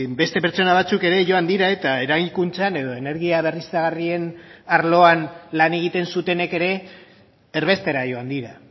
beste pertsona batzuk ere joan dira eta eraikuntzan edo energia berriztagarrien arloan lan egiten zutenek ere erbestera joan dira